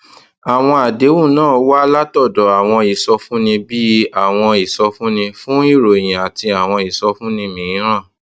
àwọn àdéhùn náà wá látòdò àwọn ìsọfúnni bíi àwọn ìsọfúnni fún ìròyìn àti àwọn ìsọfúnni mìíràn